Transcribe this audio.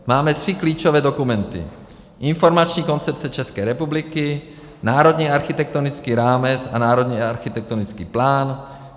Máme tři klíčové dokumenty: Informační koncepce České republiky, Národní architektonický rámec a Národní architektonický plán.